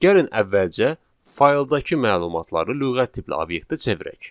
Gəlin əvvəlcə fayldakı məlumatları lüğət tipli obyektə çevirək.